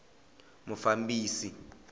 mufambisi